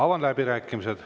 Avan läbirääkimised.